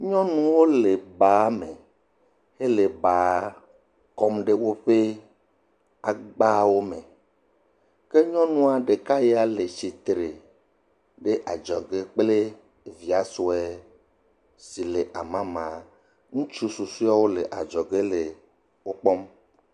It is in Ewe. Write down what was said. Nyɔnuwo le baa me hele baa kɔm ɖe woƒe agbawo me. ke nyɔnua ɖeka yaa le tsitre ɖe adzɔge kple evia sue si le amama. Ŋutsu susuewo le adzɔge le wo kpɔm.